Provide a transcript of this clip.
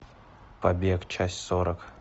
побег часть сорок